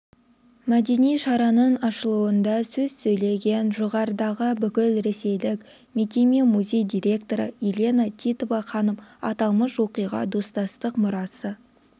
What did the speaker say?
мәдени шараның ашылуында сөз сөйлеген жоғарыдағы бүкілресейлік мекеме-музей директоры елана титова ханым аталмыш оқиға достастық мұрасы